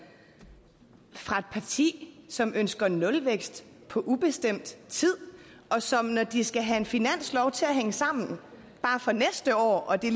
fra et parti som ønsker nulvækst på ubestemt tid og som når de skal have en finanslov til at hænge sammen bare for næste år og det